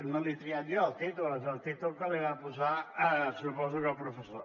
no l’he triat jo el títol és el títol que li va posar suposo que el professor